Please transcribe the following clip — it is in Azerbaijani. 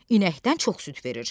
İnəkdən çox süd verir.